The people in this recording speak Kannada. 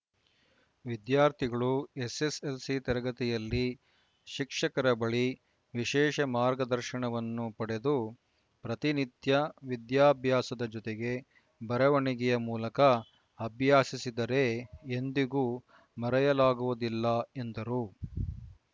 ವಿದ್ಯಾರ್ಥಿಗಳು ಎಸ್‌ಎಸ್‌ಎಲ್‌ಸಿ ತರಗತಿಯಲ್ಲಿ ಶಿಕ್ಷಕರ ಬಳಿ ವಿಶೇಷ ಮಾರ್ಗದರ್ಶನವನ್ನು ಪಡೆದು ಪ್ರತಿನಿತ್ಯ ವಿದ್ಯಾಭ್ಯಾಸದ ಜೊತೆಗೆ ಬರವಣಿಗೆಯ ಮೂಲಕ ಅಭ್ಯಾಸಿಸಿದರೆ ಎಂದಿಗೂ ಮರೆಯಲಾಗುವುದಿಲ್ಲ ಎಂದರು